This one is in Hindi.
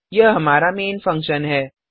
यह हमारा मेन फंक्शन है